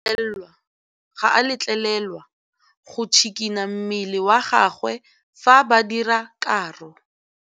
Modise ga a letlelelwa go tshikinya mmele wa gagwe fa ba dira karô.